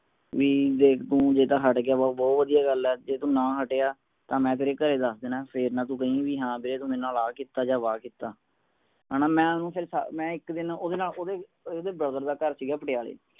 B ਦੇਖ ਤੂੰ ਜੇ ਤਾ ਹਟ ਗਯਾ ਤਾ ਬਹੂ ਵਧਿਆ ਗੱਲ ਹੈ ਜੇ ਤੂੰ ਨਾ ਹਟਿਆ ਤਾਂ ਮੈ ਤੇਰੇ ਘਰੇ ਦਸ ਦੇਣਾ ਹੈ ਫੇਰ ਨਾ ਤੂੰ ਕਹਿ ਬੀ ਹਾਂ ਦੇਖ ਤੂੰ ਮੇਰੇ ਨਾਲ ਆ ਕੀਤਾ ਜਾ ਵਾ ਕੀਤਾ ਹਣਾ ਮੈ ਓਹਨੂੰ ਫੇਰ ਇਕ ਦਿਨ ਇਹਦੇ brother ਦਾ ਘਰ ਸੀਗਾ ਪਟਿਆਲੇ